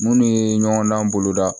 Munnu ye ɲɔgɔn dan boloda